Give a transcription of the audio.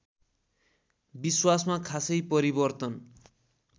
विश्वासमा खासै परिवर्तन